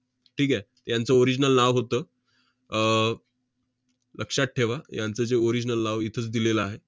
ठीक आहे. यांचं original नाव होतं, अह लक्षात ठेवा यांचं जे original नाव इथंच दिलेलं आहे.